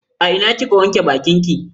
A ina kika wanke bakinki?